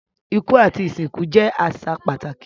Iku ati isinku jẹ aṣa pataki